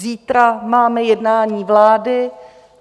Zítra máme jednání vlády.